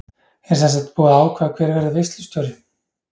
Er semsagt búið að ákveða hver verður veislustjóri?